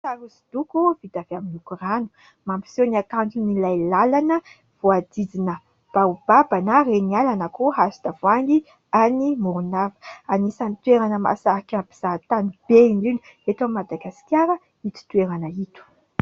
Sary hosodoko vita avy amin'ny loko rano. Mampiseho ny hakanton'ilay lalana voahodidina baobaba na reniala na koa hazo tavoahangy any Morondava. Anisan'ny toerana mahasarika mpizahantany be indrindra eto Madagasikara ito toerana ito.